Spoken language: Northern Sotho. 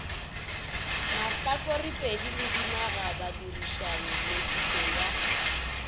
mahlakorepedi le dinagabadirišani nepišo ya